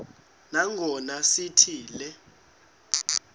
nangona sithi le